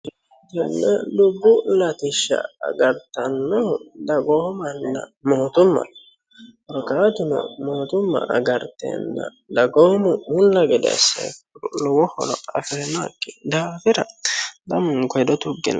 Tenne dubbu latisha agartanno dagoomana mootimma korkaatuno mootumma agarteenna dagoomu mulla gede asse lowo horo afirannoki daafira lamunku hedo tuggine